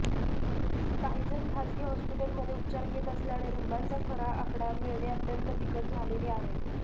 काहीजण खाजगी हॉस्पीटलमध्ये उपचार घेत असल्याने रुग्णांचा खरा आकडा मिळणे अत्यंत बिकट झालेले आहे